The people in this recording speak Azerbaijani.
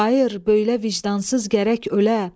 Xayır, böylə vicdansız gərək ölə.